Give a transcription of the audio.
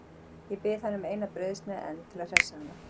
Ég bið hana um eina brauðsneið enn til að hressa hana.